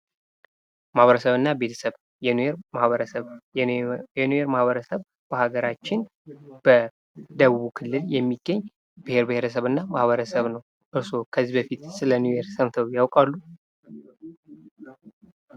ማኅበረሰቡ እና ቤተሰብ የኒዌር ማህበረሰብ በሀገራችን በደቡቡ ክልል የሚገኝ ብሔር ብሔረሰብና ማህበረሰብ ነው። እርስዎ ከዚህ በፊት ስለኒዌር ሰምተው ያውቃሉ?